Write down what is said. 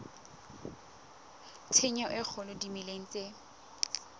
tshenyo e kgolo dimeleng tse